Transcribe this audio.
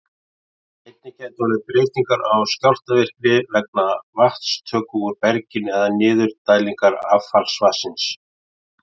Einnig gætu orðið breytingar á skjálftavirkni vegna vatnstöku úr berginu eða niðurdælingar affallsvatns.